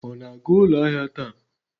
Ọ na-aga ụlọ ahịa taa?